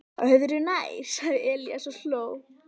Öðru nær, sagði Elías og hló.